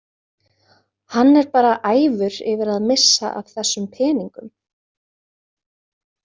Hann er bara æfur yfir að missa af þessum peningum.